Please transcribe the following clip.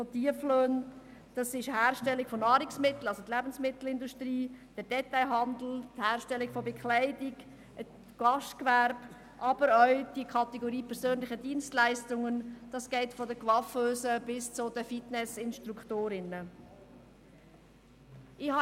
Das betrifft die Herstellung von Nahrungsmitteln, also die Lebensmittelindustrie, den Detailhandel, die Herstellung von Bekleidung, das Gastgewerbe, aber auch die Kategorie persönliche Dienstleistungen, die von den Coiffeusen bis zu den Fitnessinstruktorinnen reicht.